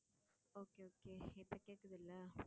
okay இப்ப கேக்குதுல்ல